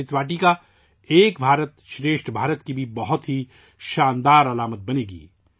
یہ امرت واٹیکا بھی 'ایک بھارت شریشٹھ بھارت' کی بہت شاندار علامت بنے گی